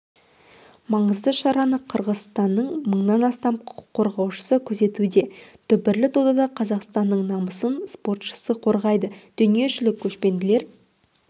маңызды шараны қырғызстанның мыңнан астам құқық қорғаушысы күзетуде дүбірлі додада қазақстанның намысын спортшысы қорғайды дүниежүзілік көшпенділер